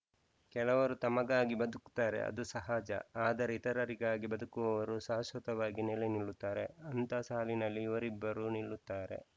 ಕೆಲವರು ತಮಗಾಗಿ ಬದುಕುತ್ತಾರೆ ಅದು ಸಹಜ ಆದರೆ ಇತರರಿಗಾಗಿ ಬದುಕುವವರು ಶಾಶ್ವತವಾಗಿ ನೆಲೆ ನಿಲ್ಲುತ್ತಾರೆ ಅಂತಹ ಸಾಲಿನಲ್ಲಿ ಇವರಿಬ್ಬರೂ ನಿಲ್ಲುತ್ತಾರೆ